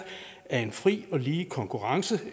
af en fri og lige konkurrence